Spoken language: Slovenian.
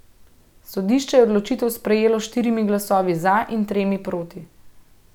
Sodišče je odločitev sprejelo s štirimi glasovi za in tremi proti.